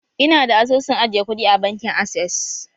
Ina da asusun ajiye kuɗi a bankin access.